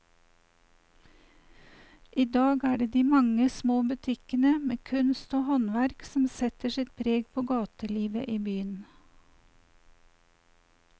I dag er det de mange små butikkene med kunst og håndverk som setter sitt preg på gatelivet i byen.